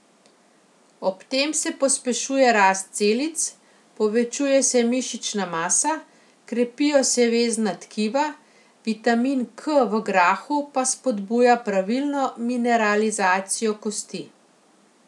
Ob tem se pospešuje rast celic, povečuje se mišična masa, krepijo se vezna tkiva, vitamin K v grahu pa spodbuja pravilno mineralizacijo kosti.